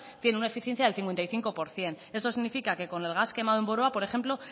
tiene una eficiencia del cincuenta y cinco por ciento esto significa que con el gas quemado en boroa por ejemplo